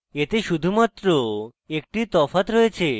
এতে শুধুমাত্র একটি তফাৎ রয়েছে